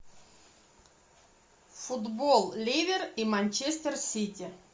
футбол ливер и манчестер сити